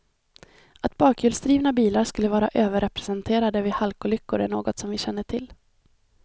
Att bakhjulsdrivna bilar skulle vara överrepresenterade vid halkolyckor är inte något som vi känner till.